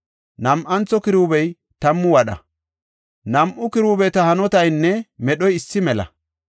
Nam7antho kiruubey tammu wadha; nam7u kiruubeta hanotaynne medhoy issi mela.